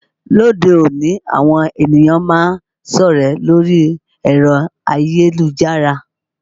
Ní òde òní àwọn ènìyàn máa ń sọ̀rẹ́ lórí ẹ̀rọ ayélujára